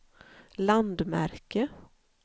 landmärke